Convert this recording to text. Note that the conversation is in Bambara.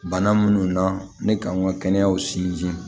Bana minnu na ne kan ka kɛnɛyaw sinsin